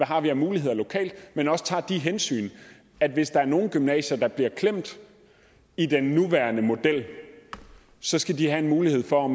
har af muligheder lokalt men også tager de hensyn at hvis der er nogle gymnasier der bliver klemt i den nuværende model så skal de have en mulighed for